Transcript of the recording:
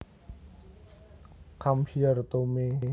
Come here to me